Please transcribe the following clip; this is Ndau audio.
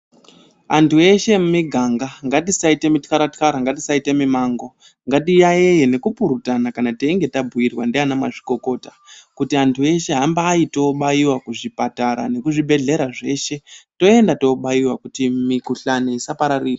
Antu ese emumiganga ngatisaite mutyara-tyara, ngatisaite mimango ngatiyaiye nekupurutana kana teinge tabhuirwa ndiana mazvikokota. Kuti antu eshe hambai tinobaiwa kuzvipatara nekuzvibhedhleya zveshe toenda tobaiwa kuti mikhuhlani isapararire.